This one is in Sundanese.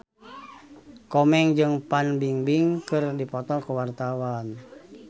Komeng jeung Fan Bingbing keur dipoto ku wartawan